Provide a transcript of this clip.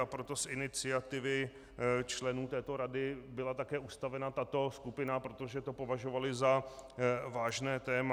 A proto z iniciativy členů této rady byla také ustavena tato skupina, protože to považovali za vážné téma.